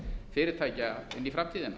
fyrirtækja inn í framtíðina